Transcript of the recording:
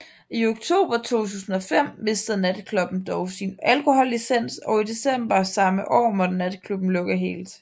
I oktober 2005 mistede natklubben dog sin alkohollicens og i december samme år måtte natklubben lukke helt